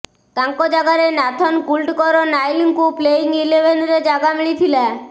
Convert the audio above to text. ତାଙ୍କ ଜାଗାରେ Nathan Coulter ନାଇଲଙ୍କୁ ପ୍ଲେଇଙ୍ଗ ଇଲେଭେନ୍ ରେ ଜାଗା ମିଳିଥିଲା